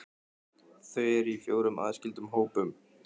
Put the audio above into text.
Þau eru í fjórum aðskildum hópum.